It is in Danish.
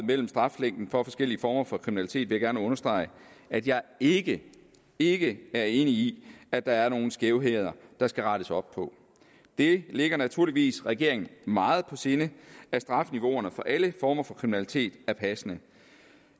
mellem straflængden for forskellige former for kriminalitet vil jeg gerne understrege at jeg ikke ikke er enig i at der er nogle skævheder der skal rettes op på det ligger naturligvis regeringen meget på sinde at strafniveauerne for alle former for kriminalitet er passende